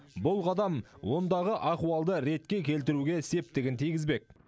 бұл қадам ондағы ахуалды ретке келтіруге септігін тигізбек